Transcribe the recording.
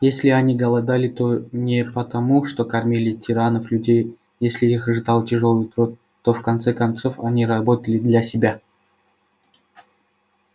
если они голодали то не потому что кормили тиранов-людей если их ждал тяжёлый труд то в конце концов они работали для себя